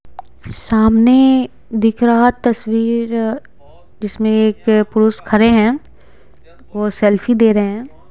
सामने दिख रहा तस्वीर जिसमें एक पुरुष खड़े हैं वह सेल्फी ले रहे हैं।